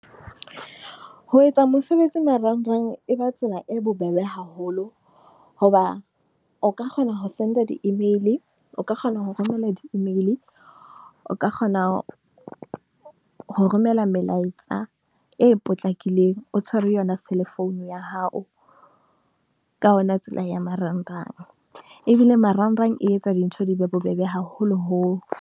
Ho etsa mosebetsi marangrang e ba tsela e bobebe haholo. Hoba o ka kgona ho senda di-email, o ka kgona ho romelwa di-email. O ka kgona ho romela melaetsa e potlakileng, o tshwere yona. Cell-phone ya hao ka ona. Tsela ya marangrang ebile marangrang e etsa dintho di be bobebe, haholoholo.